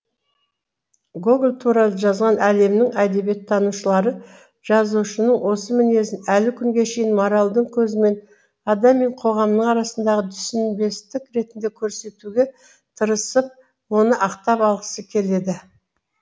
гоголь туралы жазған әлемнің әдебиеттанушылары жазушының осы мінезін әлі күнге шейін моральдың көзімен адам мен қоғамның арасындағы түсінбестік ретінде көрсетуге тырысып оны ақтап алғысы келеді